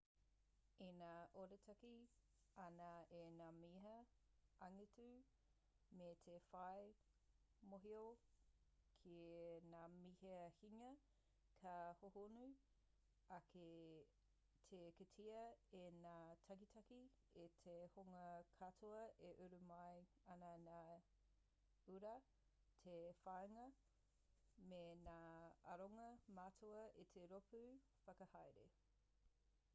ina arotake ana i ngā mea angitu me te whai mōhio ki ngā mea hinga ka hōhonu ake te kitea e ngā takitahi e te hunga katoa e uru mai ana ngā uara te whāinga me ngā aronga matua o te rōpū whakahaere